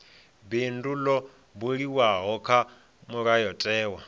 bindu ḽo buliwaho kha mulayotewa